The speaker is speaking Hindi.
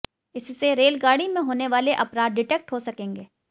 इससे रेलगाड़ी में होनेवाले अपराध डिटेक्ट हो सकेंगे